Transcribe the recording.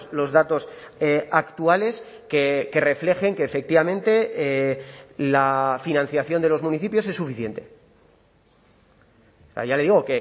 los datos actuales que reflejen que efectivamente la financiación de los municipios es suficiente ya le digo